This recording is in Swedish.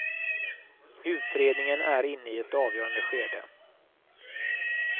Utredningen är inne i ett avgörande skede.